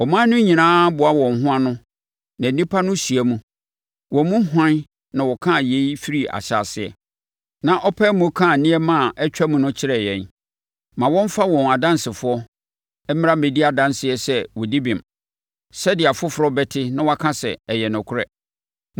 Aman no nyinaa boa wɔn ho ano na nnipa no hyia mu. Wɔn mu hwan na ɔkaa yei firii ahyɛaseɛ na ɔpaee mu kaa nneɛma a atwam no kyerɛɛ yɛn? Ma wɔmmfa wɔn adansefoɔ mmra mmɛdi adanseɛ sɛ wɔdi bem, sɛdeɛ afoforɔ bɛte na wɔaka sɛ, “Ɛyɛ nokorɛ.”